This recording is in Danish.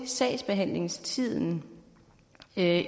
sagsbehandlingstiden